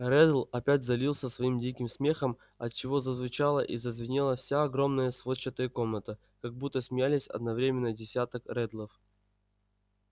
реддл опять залился своим диким смехом отчего зазвучала и зазвенела вся огромная сводчатая комната как будто смеялись одновременно десяток реддлов